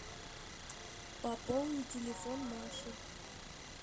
пополнить телефон маши